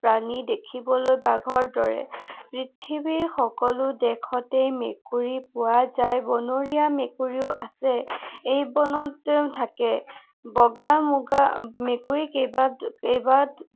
প্ৰাণী। দেখিবলৈ বাঘৰ দৰে। পৃথিৱীৰ সকলো দেশতেই মেকুৰী পোৱা যায়। বনৰীয়া মেকুৰীও আছে। ই বনতে থাকে। বগা, মুগা, মেকুৰী কেইবা, কেইবা